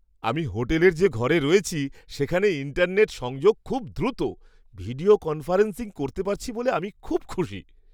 আমি হোটেলের যে ঘরে রয়েছি সেখানে ইন্টারনেট সংযোগ খুব দ্রুত। ভিডিও কনফারেন্সিং করতে পারছি বলে আমি খুশি।